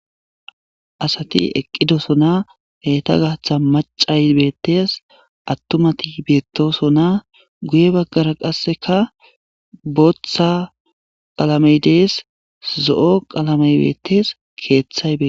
asati eqqi dosona heyta gaatha macay beettes attumati beettosona guye baggara qasseka booththa qalamey dees zo'o qalamey bettees keeththay beetes